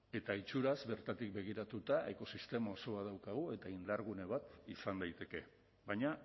eta itxuraz bertatik begiratuta ekosistema oso bat daukagu eta indargune bat izan daiteke baina